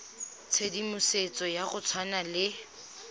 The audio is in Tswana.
tshedimosetso ya go tshwana le